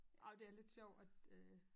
Ej det er lidt sjovt at øh